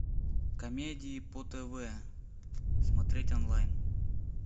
комедии по тв смотреть онлайн